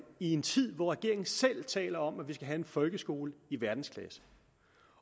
i en tid hvor regeringen selv taler om at vi skal have en folkeskole i verdensklasse